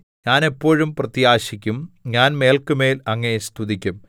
ഞാൻ എപ്പോഴും പ്രത്യാശിക്കും ഞാൻ മേല്ക്കുമേൽ അങ്ങയെ സ്തുതിക്കും